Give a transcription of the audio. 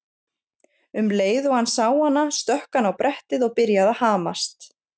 Um leið og hann sá hana stökk hann á brettið og byrjaði að hamast.